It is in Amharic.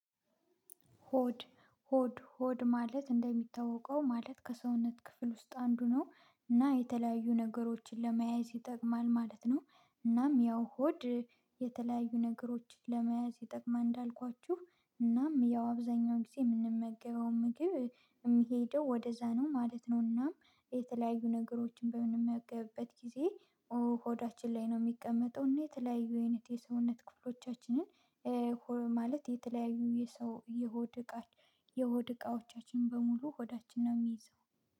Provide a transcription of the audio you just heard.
ሆድ ሆድ ሆድ ማለት እንደሚታወቀው ማለት ከሰውነት ክፍል ውስጥ አንዱ ነው እና የተለያዩ ነገሮችን ለመያዝ ይጠቅማል ማለት ነው። እናም ያው ሆድ የተለያዩ ነገሮችን ለመያዝ ይጠቅማል እንዳልኳችሁ እናም ያው አብዛኛውን ጊዜ የምንመገበው ምግብ የምሄደው ወደዛ ነው ማለት ነው። እናም የተለያዩ ነገሮችን በምንመገብበት ጊዜ ሆዳችን ላይ ነው የሚቀመጠው እና የተለያዩ የሰውነት ክፍሎቻችንን ማለት የተለያዩ የሰው የሆድ እቃ የሆድ እቃዎቻችን በሙሉ ሆዳችን ነው የሚይዘው